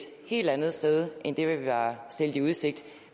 helt andet sted end det vi var stillet i udsigt